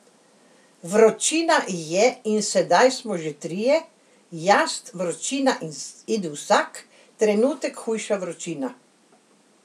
Vročina je in sedaj smo že trije, jaz, vročina in vsak trenutek hujša vročina.